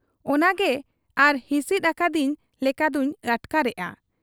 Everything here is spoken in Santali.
ᱚᱱᱟᱜᱮ ᱟᱨ ᱦᱤᱥᱤᱫ ᱟᱠᱟᱫᱤᱧ ᱞᱮᱠᱟᱫᱚᱧ ᱟᱴᱠᱟᱨᱮᱜ ᱟ ᱾